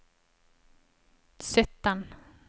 sytten